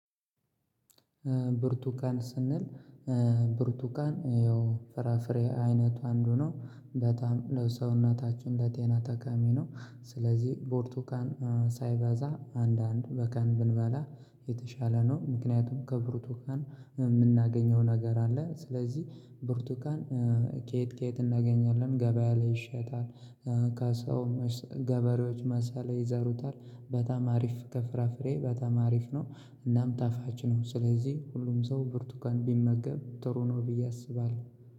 ብርቱካን ስንል ብርቱካን ያው ፍራፍሬ አይነቱ አንዱ ነው። በጣም ለሰውነታችን ለጤና ጠቃሚ ነው። ስለዚህ ብርቱካን ሳይበዛ አንድ አንድ በቀን ብንበላ የተሻለ ነው። ምክንያቱም ከብርቱካን የምናገኘው ነገር አለ። ስለዚህ ብርቱካን። ከየት ከየት እናገኛለን? ገበያ ላይ ይሸጣል። ከሰው ገበሬዎች ማሳ ላይ ይዘሩታል። በጣም አሪፍ ከፍራፍሬ በጣም አሪፍ ነው። እናም ጣፋጭ ነው። ስለዚህ ሁሉም ሰው ብርቱካን ቢመገብ ጥሩ ነው ብዬ አስባለሁ።